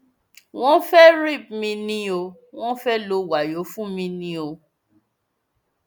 wọn fẹẹ rip mí ni o wọn fẹẹ lọ wàyó fún mi ni o